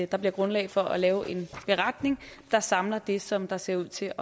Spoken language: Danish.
der bliver grundlag for at lave en beretning der samler det som der ser ud til